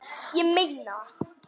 Ég meina það.